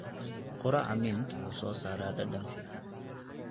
Quraca mint wuxuu soo saaraa dhadhan fiican.